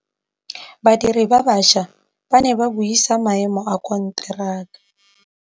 Badiri ba baša ba ne ba buisa maêmô a konteraka.